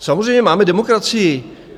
Samozřejmě máme demokracii.